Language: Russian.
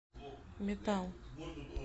метал